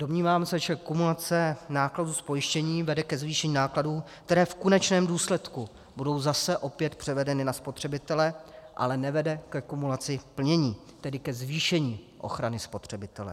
Domnívám se, že kumulace nákladů z pojištění vede ke zvýšení nákladů, které v konečném důsledku budou zase opět převedeny na spotřebitele, ale nevede ke kumulaci plnění, tedy ke zvýšení ochrany spotřebitele.